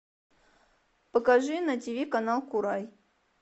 покажи на тиви канал курай